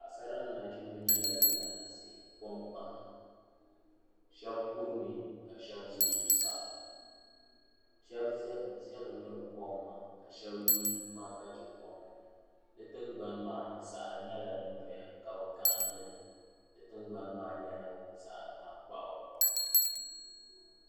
Paɣasara ni nachimba nyɛla ban laɣim ʒi konangban kpaŋa sheba kurimi ka sheba ʒɛ zuɣusaa sheba zami miri kom maa ka sheba yi kpaŋa ka che kom maa di tingbani maani saɣari nyɛla din doya ka bɛ gahindili di tingbani maa nyɛla zaɣa tankpaɣu.